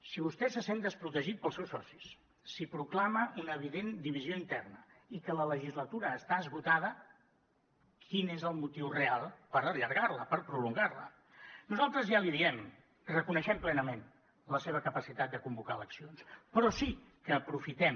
si vostè se sent desprotegit pels seus socis si proclama una evident divisió interna i que la legislatura està esgotada quin és el motiu real per allargar la per prolongar la nosaltres ja l’hi diem reconeixem plenament la seva capacitat de convocar eleccions però sí que aprofitem